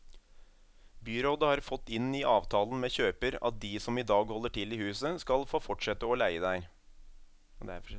Byrådet har fått inn i avtalen med kjøper at de som i dag holder til i huset skal få fortsette å leie der.